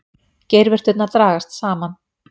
Geirvörturnar dragast saman.